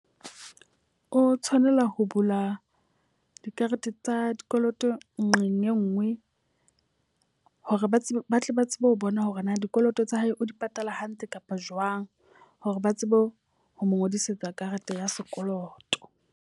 O tshwanela ho bula dikarete tsa dikoloto nqeng e nngwe. Hore ba tsebe ba tle ba tsebe ho bona hore na dikoloto tsa hae o di patala hantle kapa jwang. Hore ba tsebe ho mo ngodisetsa karete ya sekoloto.